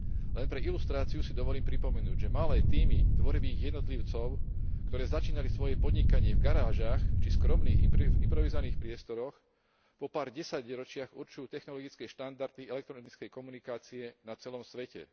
Len pre ilustráciu si dovolím pripomenúť, že malé tímy tvorivých jednotlivcov, ktoré začínali svoje podnikanie v garážach či skromných improvizovaných priestoroch, po pár desaťročiach určujú technologické štandardy elektronickej komunikácie na celom svete.